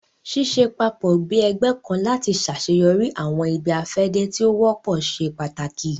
Ṣiṣẹ papọ bi ẹgbẹ kan lati ṣaṣeyọri awọn ibi-afẹde ti o wọpọ ṣe pàtàkì